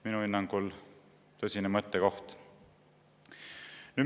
Minu hinnangul tõsine mõttekoht.